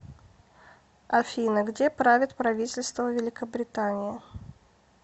афина где правит правительство великобритании